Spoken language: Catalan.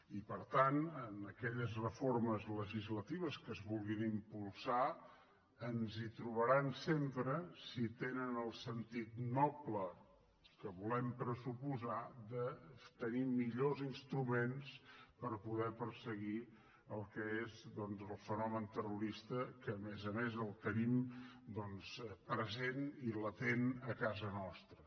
i per tant en aquelles reformes legislatives que es vulguin impulsar ens hi trobaran sempre si tenen el sentit noble que volem pressuposar de tenir millors instruments per poder perseguir el que és el fenomen terrorista que a més a més el tenim present i latent a casa nostra